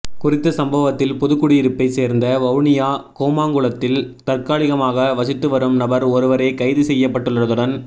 குறித்த சம்பவத்தில் புதுக்குடியிருப்பை சேர்ந்த வவுனியா கூமாங்குளத்தில் தற்காலிகமாக வசித்துவரும் நபர் ஒருவரே கைது செய்யப்பட்டுள்ளதுடன்